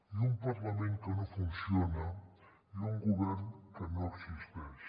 i un parlament que no funciona i un govern que no existeix